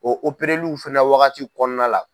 fana wagati kɔnɔna la.